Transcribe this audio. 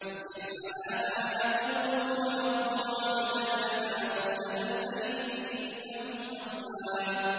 اصْبِرْ عَلَىٰ مَا يَقُولُونَ وَاذْكُرْ عَبْدَنَا دَاوُودَ ذَا الْأَيْدِ ۖ إِنَّهُ أَوَّابٌ